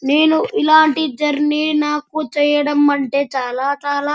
నేను ఇలాంటి జర్నీ చేయటం అంటే నాకు చాలా చాలా --